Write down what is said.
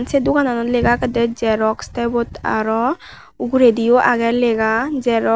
sey dogananot lega agede xerox tay ubot aro ugurendiyo agey lega xerox.